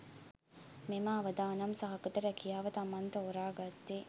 මෙම අවදානම් සහගත රැකියාව තමන් තෝරා ගත්තේ